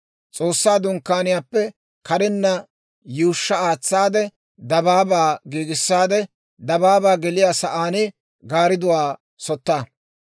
S'oossaa Dunkkaaniyaappe karenna yuushsha aatsaade dabaabaa giigissaade dabaabaa geliyaa sa'aan gaaridduwaa sotta.